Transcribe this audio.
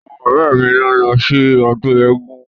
Àwọn ọ̀rẹ́ mi ni ó ń lọ sí ọdún eégun.